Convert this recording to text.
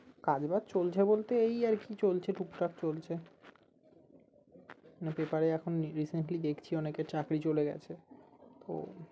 কাজ বাজ চলছে বলতে এই আর কি চলছে টুকটাক চলছে না পেপারে এখন recently দেখছি অনেকের চাকরি চলে গেছে খুব